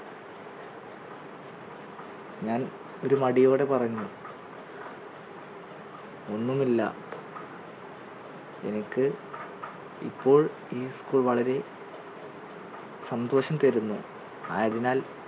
ഞാൻ ഒരു മടിയോടെ പറഞ്ഞു ഒന്നുമില്ല എനിക്ക് ഇപ്പോൾ ഈ school വളരെ സന്തോഷം തരുന്നു അയതിനാൽ